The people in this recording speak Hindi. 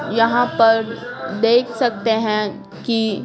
यहाँ पर देख सकते हैं कि--